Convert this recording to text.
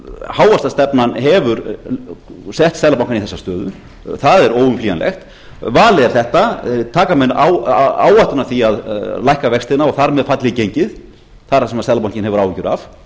hávaxtastefnan hefur sett seðlabankann í þessa stöðu það er óumflýjanlegt valið er þetta taka menn áhættuna af því að lækka vextina og þar með falli gengið það er það sem seðlabankinn hefur áhyggjur af